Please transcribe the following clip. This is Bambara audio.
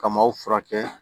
Ka maaw furakɛ